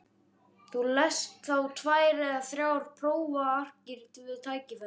Þú lest þá tvær eða þrjár prófarkir við tækifæri.